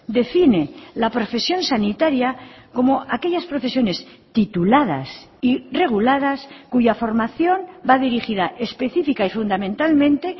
define la profesión sanitaria como aquellas profesiones tituladas y reguladas cuya formación va dirigida específica y fundamentalmente